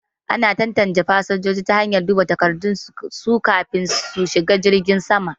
Ana tantance fasinjoji ta hanyar duba takardun su kafin su shiga jirgin saman